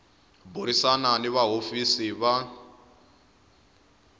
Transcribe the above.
burisana ni va hofisi va